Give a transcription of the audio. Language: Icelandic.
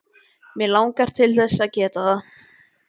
Mig langar til þess að geta það.